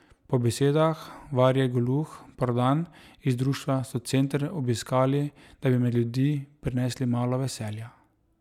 Po besedah Varje Golouh Prodan iz društva so center obiskali, da bi med ljudi prinesli malo veselja.